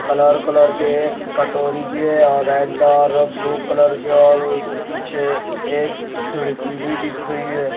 Colour colour के कटोरी भी है और रेड और ब्लू कलर के और स पीछे एक खिड़की भी दिख रही है।